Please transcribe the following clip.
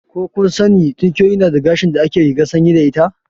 Ko kun sani tinkiyoyi suna da gashin da ake rigar sanyi da ita?